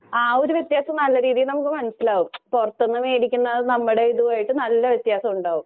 ആ ഒരു വ്യത്യാസം നല്ല രീതിയിൽ നമുക്ക് മനസ്സിലാകും. പൊറത്തൂന്ന് മേടിക്കുന്നതും നമ്മുടെതുമായിട്ട് നല്ല വ്യത്യാസമുണ്ടാവും.